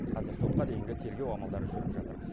қазір сотқа дейінгі тергеу амалдары жүріп жатыр